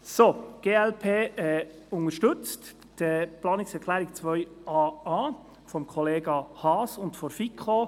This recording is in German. Die glp unterstützt die Planungserklärung 2a.a von Kollega Haas und der FiKo.